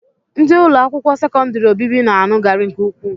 Ndị ụlọakwụkwọ sekọndịrị obibi na-aṅụ garị nke ukwuu